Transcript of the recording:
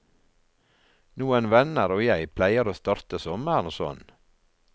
Noen venner og jeg pleier å starte sommeren sånn.